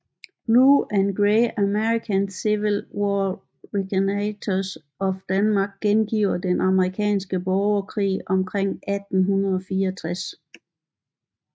Blue and Gray American Civil War Reenactors of Denmark gengiver Den Amerikanske Borgerkrig omkring 1864